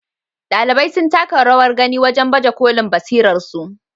Ɗalibai sun taka rawar gani wajen baje kolin basirarsu.